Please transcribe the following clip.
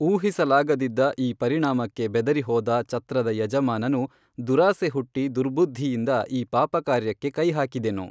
ಊಹಿಸಲಾಗದಿದ್ದ ಈ ಪರಿಣಾಮಕ್ಕೆ ಬೆದರಿ ಹೋದ ಚತ್ರದ ಯಜಮಾನನು ದುರಾಸೆ ಹುಟ್ಟಿ ದುರ್ಬುದ್ಧಿಯಿಂದ ಈ ಪಾಪಕಾರ್ಯಕ್ಕೇ ಕೈಹಾಕಿದೆನು